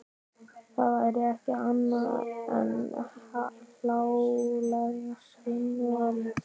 Það væri ekki annað en hláleg skynvilla.